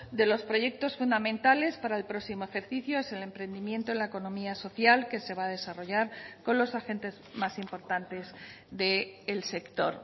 de los proyectos fundamentales para el próximo ejercicio es el emprendimiento en la economía social que se va a desarrollar con los agentes más importantes del sector